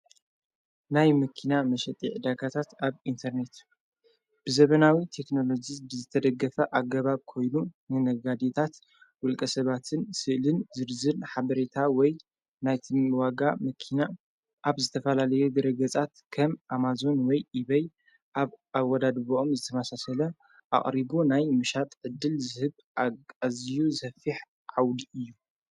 ናይ ምኪና መሸጢዕ ዳካታት ኣብ ኢንተርኔት ብዘበናዊ ቴክንሎዙ ዝተደገፈ ኣገባብ ኮይኑ ንነጋዲታት ውልቀ ሰባትን ሥእልን ዝድዝን ሓበሬታ ወይ ናይት ምዋጋ መኪና ኣብ ዝተፋላለየ ድረገጻት ከም ኣማዞን ወይ ኢበይ ኣብ ኣ ወዳድቦኦም ዝተማሳሰለ ኣቕሪቡ ናይ ምሻጥ ዕድል ዝህብ ኣኣዝዩ ዘፊሕ ዓውዲ እዩ፡